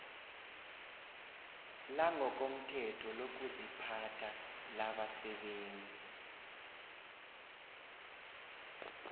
langokomthetho lokuziphatha labasebenzi